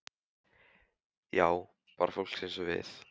Já, bara fólk eins og við.